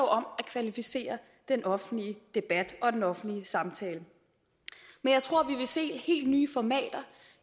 om at kvalificere den offentlige debat og den offentlige samtale men jeg tror vi vil se helt nye formater